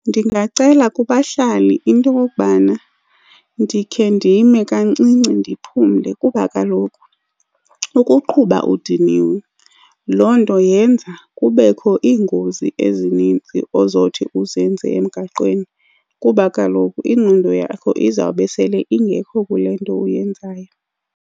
Ndingacela kubahlali into yokokubana ndikhe ndime kancinci ndiphumle kuba kaloku ukuqhuba udiniwe loo nto yenza kubekho iingozi ezinintsi ozothi uzenze emgaqweni, kuba kaloku ingqondo yakho izawube sele ingekho kule nto uyenzayo.